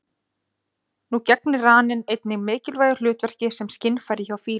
Nú gegnir raninn einnig mikilvægu hlutverki sem skynfæri hjá fílum.